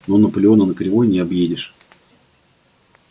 но наполеона на кривой не объедешь